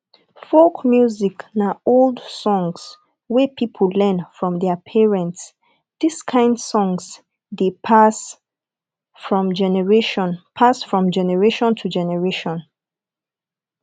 folk music na old songs wey pipo learn from their parents dis kind song dey pass from generation pass from generation to generation